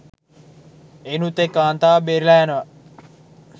එයිනුත් එක් කාන්තාවක් බේරිලා යනවා